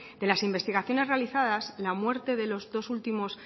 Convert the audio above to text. de las investigaciones realizadas la muerte de los dos últimos